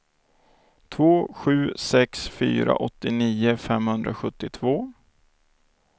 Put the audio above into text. två sju sex fyra åttionio femhundrasjuttiotvå